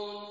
فِيهِ يَخْتَلِفُونَ